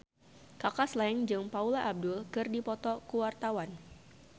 Kaka Slank jeung Paula Abdul keur dipoto ku wartawan